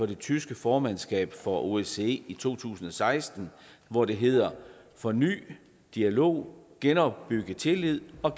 det tyske formandskab for osce i to tusind og seksten hvor det hed forny dialog genopbyg tillid og